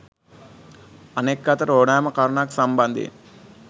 අනෙක් අතට ඕනෑම කරුණක් සම්බන්ධයෙන්